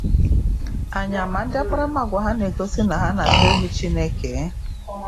Anyị ama ndị akparamagwa ha na-egosi na ha na-atụ egwu Chineke?